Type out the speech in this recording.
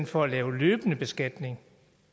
for at lave løbende beskatning